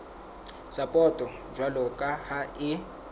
sapoto jwalo ka ha e